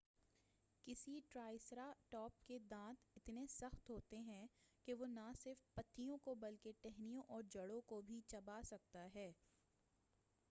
کسی triceratops کے دانت اتنے سخت ہوتے ہیں کہ وہ نہ صرف پتیوں کو بلکہ ٹہنیوں اور جڑوں کو بھی چبا سکتا ہے